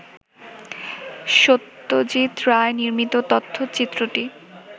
সত্যজিৎ রায় নির্মিত তথ্যচিত্রটি